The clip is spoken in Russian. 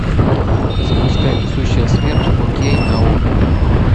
запускай несущая смерть фо кей на окко